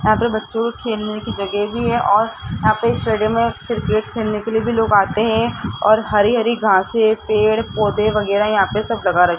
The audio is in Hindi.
यहां पे बच्चों के खेलने की जगह भी है और यहां पे स्टेडियम में क्रिकेट खेलने के लिए भी लोग आते हैं और हरी हरी घांसे पेड़ पौधे वगैरह यहां पर सब लगा --